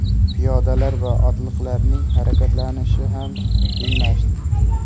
Piyodalar va otliqlarning harakatlanishi ham qiyinlashdi.